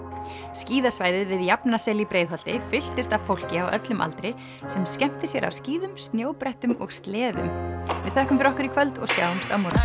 skíðasvæðið við í Breiðholti fylltist af fólki á öllum aldri sem skemmti sér á skíðum snjóbrettum og sleðum við þökkum fyrir okkur í kvöld og sjáumst á morgun